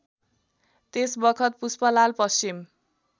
त्यसबखत Pushpalal Paschim